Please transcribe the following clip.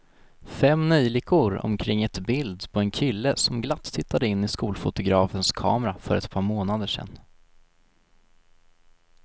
Fem neljikor omkring ett bild på en kille som glatt tittade in i skolfotografens kamera för ett par månader sedan.